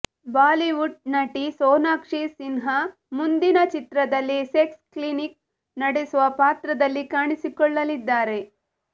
Bollywood ನಟಿ ಸೋನಾಕ್ಷಿ ಸಿನ್ಹಾ ಮುಂದಿನ ಚಿತ್ರದಲ್ಲಿ ಸೆಕ್ಸ್ ಕ್ಲಿನಿಕ್ ನಡೆಸುವ ಪಾತ್ರದಲ್ಲಿ ಕಾಣಿಸಿಕೊಳ್ಳಲಿದ್ದಾರೆ